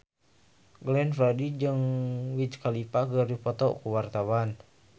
Glenn Fredly jeung Wiz Khalifa keur dipoto ku wartawan